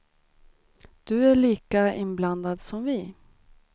Du är lika inblandad som vi.